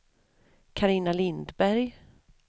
Carina Lindberg